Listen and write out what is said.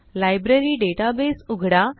library database उघडा